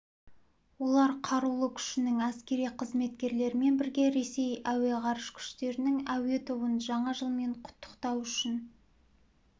олар қарулы күшінің әскери қызметкерлерімен бірге ресей әуе ғарыш күштерінің әуе тобын жаңа жылмен құттықтау үшін